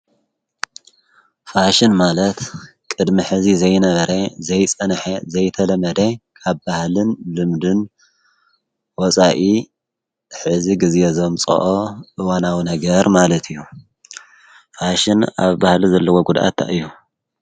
ፋሽን ማለት ቅድሚ ሕዚ ዘይነበረ ዘይጸንሐ ዘይተለመደ ቃብ ባህልን ልምድን ወፃኢ ሕዚ ጊዜ ዘምጽኦ እወናዊ ነገር ማለት እዩ ፋሽን ኣብ ባህሊ ዘለዎ ጕድኣታ እዩ።